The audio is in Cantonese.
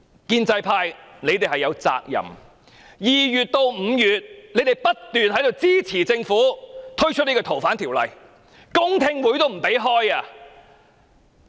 建制派議員亦有責任，由今年2月至5月，他們一直支持政府修訂《逃犯條例》，連公聽會也不肯舉行。